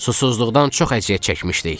"Susuzluqdan çox əziyyət çəkmişdik."